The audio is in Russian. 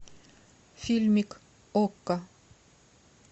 фильмик окко